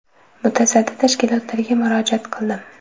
Mutasaddi tashkilotlarga murojaat qildim.